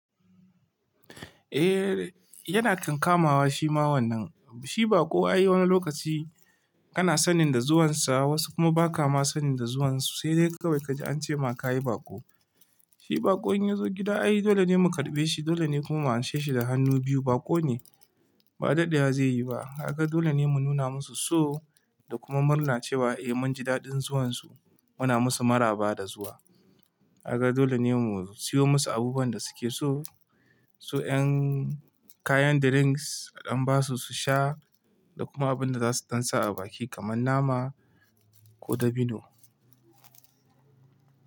Eh yana kankamawa shi ma wannan. Shi baƙo ayi wani lokaci kana sanin da zuwansa wasu kuma ba ka ma sanin da zuwansu. Sai dai kawai ka ji an ce ma ka yi baƙo. Shi baƙo in ya zo gida ai dole ne mu karɓe shi. Dole ne kuma mu anshe shi da hannu biyu. Baƙo ne ba daɗewa zai yi ba. Kaga dole ne mu nuna musu so da kuma murna cewa eh mun ji daɗin zuwansu. Muna musu maraba da zuwa. Haka dole ne mu siyo musu abubuwan da suke so. Su 'yan kayan drinks a ɗan basu su sha da kuma abin da za su dan sa a baki kamar nama ko dabino.